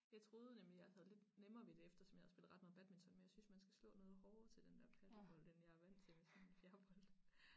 Jeg troede nemlig jeg havde lidt nemmere ved det eftersom jeg har spillet ret meget badminton men jeg synes man skal slå noget hårdere til den dér padelbold end jeg er vandt til med sådan en fjerbold